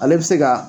Ale bɛ se ka